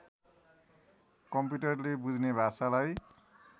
कम्प्युटरले बुझ्ने भाषालाई